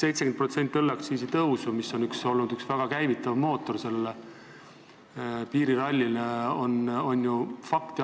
70% õlleaktsiisi tõusu, mis on olnud üks piiriralli käivitanud mootoreid, on ju fakt.